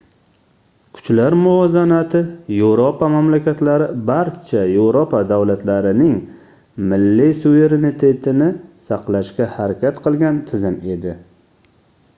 kuchlar muvozanati yevropa mamlakatlari barcha yevropa davlatlarining milliy suverenitetini saqlashga harakat qilgan tizim edi